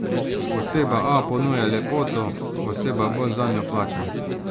Oseba A ponuja lepoto, oseba B zanjo plača.